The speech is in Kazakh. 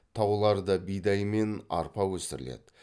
тауларда бидай мен арпа өсіріледі